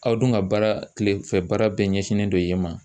Aw dun ka baara kilefɛ baara bɛɛ ɲɛsinnen don yen ma